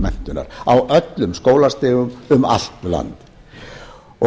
menntunar á öllum skólastigum um allt land